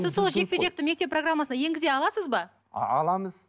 сіз сол жекпе жекті мектеп программасына енгізе аласыз ба аламыз